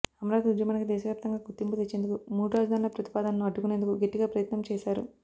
అమరావతి ఉద్యమానికి దేశవ్యాప్తంగా గుర్తింపు తెచ్చేందుకు మూడు రాజధానుల ప్రతిపాదనను అడ్డుకునేందుకు గట్టిగా ప్రయత్నం చేశారు